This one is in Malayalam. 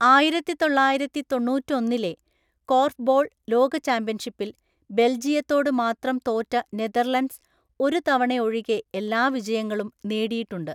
ആയിരത്തിതൊള്ളായിരത്തി തൊണ്ണൂറ്റൊന്നിലെ കോർഫ്‌ബോൾ ലോക ചാമ്പ്യൻഷിപ്പിൽ ബെൽജിയത്തോട് മാത്രം തോറ്റ നെതർലൻഡ്‌സ് ഒരു തവണയൊഴികെ എല്ലാ വിജയങ്ങളും നേടിയിട്ടുണ്ട്.